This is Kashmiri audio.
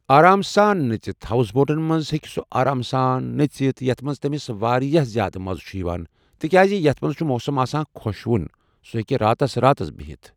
آرام سان نٔژتھ ہاوس بوٹن منٚز ہیٚکہِ سُہ آرام سان نٔژتھ یتھ منٛز تٔمِس واریاہ زیادٕ مزٕ چھُ یِوان تِکیازِ یتھ منٛز چھُ موسم آسان خۄشوُن ، سُہ ہیٚکہِ راتس راتس بِہتھ